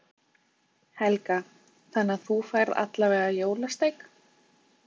Helga: Þannig að þú færð allavega jólasteik?